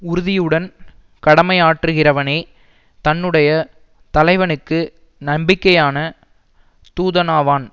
உறுதியுடன் கடமையாற்றுகிறவனே தன்னுடைய தலைவனுக்கு நம்பிக்கையான தூதனாவான்